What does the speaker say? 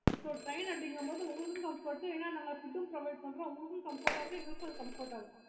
இப்போ train அப்பிடின்ற பொது உங்களுக்கும் comfort ஏன்னா நாங்க food provide பண்றோம்